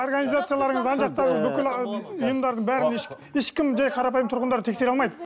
организацияларыңыз ана жақтағы бүкіл ұйымдардың бәрін ешкім жай қарапайым тұрғындар тексере алмайды